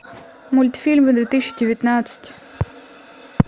мультфильмы две тысячи девятнадцать